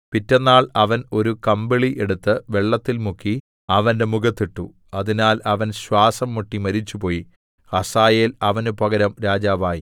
പിറ്റെന്നാൾ അവൻ ഒരു കമ്പിളി എടുത്ത് വെള്ളത്തിൽ മുക്കി അവന്റെ മുഖത്തിട്ടു അതിനാൽ അവൻ ശ്വാസം മുട്ടി മരിച്ചുപോയി ഹസായേൽ അവനു പകരം രാജാവായി